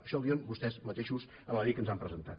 això ho diuen vostès mateixos en la llei que ens han presentat